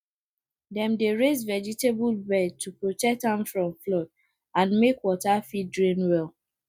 dem dey raise vegetable bed to protect am from flood and make water fit drain well